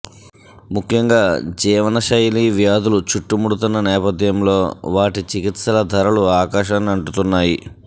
ముఖ్యంగా జీవనశైలి వ్యాధులు చుట్టుముడుతున్న నేపథ్యంలో వాటి చికిత్సల ధరలు ఆకాశాన్ని అంటుతున్నాయి